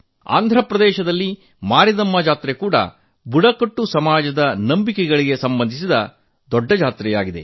ಆಂಧ್ರಪ್ರದೇಶದಲ್ಲಿ ಮಾರಿದಮ್ಮ ಜಾತ್ರೆ ಕೂಡಾ ಬುಡಕಟ್ಟು ಸಮಾಜದ ನಂಬಿಕೆಗಳಿಗೆ ಸಂಬಂಧಿಸಿದ ದೊಡ್ಡ ಜಾತ್ರೆಯಾಗಿದೆ